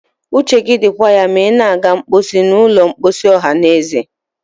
uche gị dịkwa ya ma ị na-aga mposi n'ụlọ mposi ọhanaeze